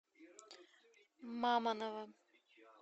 мамоново